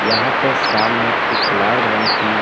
यहां पर सामने एक लाल रंग की--